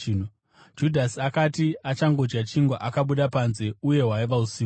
Judhasi akati achangodya chingwa, akabuda panze. Uye hwaiva usiku.